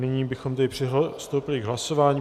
Nyní bychom tedy přistoupili k hlasování.